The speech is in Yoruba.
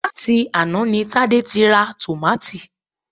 Láti àná ni Tádé ti ra tòmátì